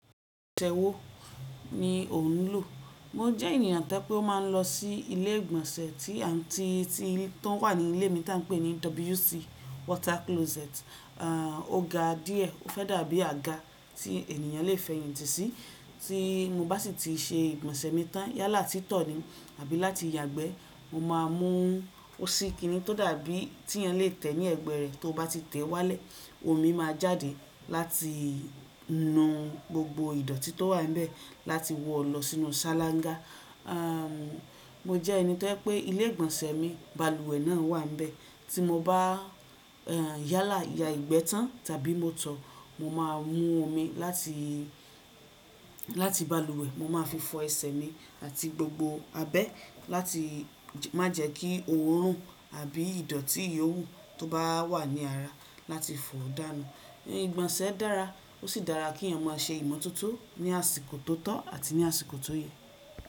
Tewò ni òun ń lò. Mo jẹ́ ènìyàn tẹ́ pé ó máa ń lọ sí ilé ìgbọ̀nsẹ̀ tí an, tí, tí tó wà ní ilé mi tà ń pè ní WC wota kiloseti À, o ga díẹ̀ ó fẹ́ dàbí àga tí ènìyàn lè fẹ̀yìntì sí. Tí mo bá sì ti ṣe ìgbọ̀nsẹ̀ mi tán, yálà tí tọ̀ ni àbí láti yagbẹ́, mo máa mú ó sì kín ní tó dàbí tí ẹni lè tẹ̀ ní ẹ̀gbẹ́ rẹ̀, tó bá ti tẹ̀ wálẹ̀, omi máa jáde láti nu gbogbo ìdọ̀tí tó wà nbe láti wọ lọ sínú ṣálángá. À, mo jẹ́ ẹni tẹ́ pé ilé ìgbọ̀nsẹ̀ mi balùwẹ̀ náà wà níbẹ̀. Tí mo bá, ẹ́, yálà ya ìgbẹ́ tán tàbí mo tọ̀, mo máa mú omi láti, láti balùwẹ̀, mo máa fi fọ ẹsẹ̀ mi àti gbogbo abẹ́ láti má jẹ́ kí òórùn àbí ìdọ̀tí yowú tó bá wà ní ara láti fọ̀ọ́ dànù. Ìgbọ̀nsẹ̀ dára ó sì dára kí yan ó máa ṣe ìmọ̀tótó ní àsìkò tó tọ́ àti ní àsìkò tó yẹ.